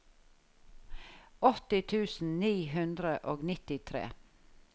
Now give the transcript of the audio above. åtti tusen ni hundre og nittitre